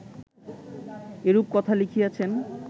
এরূপ কথা লিখিয়াছেন